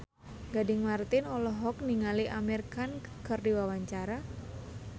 Gading Marten olohok ningali Amir Khan keur diwawancara